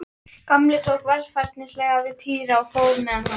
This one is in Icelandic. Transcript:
Láttu mig um það, vinur sæll, það sem verður okkur